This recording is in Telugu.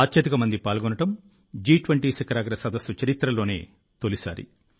అత్యధికమంది పాల్గొనడం G20 శిఖరాగ్ర సదస్సుల చరిత్రలోనే తొలిసారి